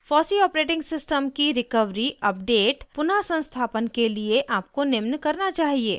fossee operating system की recovery/अपडेट/पुनः संस्थापन के लिए आपको निम्न करना चाहिए